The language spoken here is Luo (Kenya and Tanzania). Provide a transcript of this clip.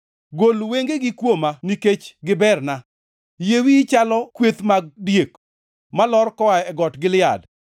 Gol wengegi kuoma; nikech giberna. Yie wiyi chalo kweth mag diek, malor koa e got Gilead.